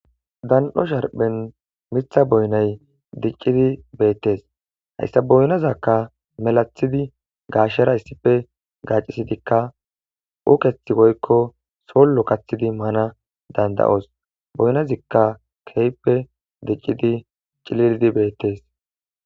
Dan7o sharphen mitha boynay diccidi beettes hayssa boynazakka melathidi gaashera issife gacisidikka ukethi woykko sollo kathidi mana danda7os boynazikka keyppe diccidi cilildi beettes